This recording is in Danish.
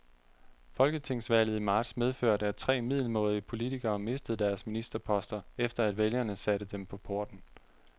Folketingsvalget i marts medførte, at tre middelmådige politikere mistede deres ministerposter, efter at vælgerne satte dem på porten.